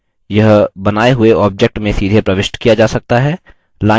यह बनाए हुए object में सीधे प्रविष्ट किया जा सकता है